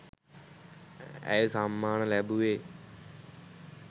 ඇය සම්මාන ලැබුවේ